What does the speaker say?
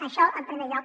això en primer lloc